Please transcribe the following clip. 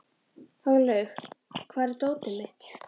Hárlaugur, hvar er dótið mitt?